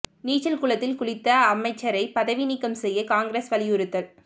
நீச்சல் குளத்தில் குளித்த அமைச்சரை பதவி நீக்கம் செய்ய காங்கிரஸ் வலியுறுத்தல்